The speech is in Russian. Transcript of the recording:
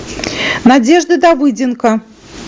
надежды давыденко